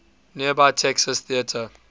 nearby texas theater